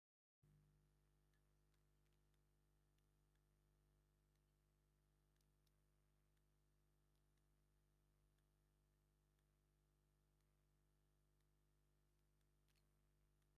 ኣብ እስፓል ክልተ ናይ ገዛ እንሰሳት ኮይኖም እቲ ሓደ ዐሊም ሕብሪ ዘለዎ እቲ ከልኣይ ድማ ፃዕዳን ፀሊምን ሕብሪ ዘለዎም እዮም ።እስኪ ኣስማቶ ጥቀሱ?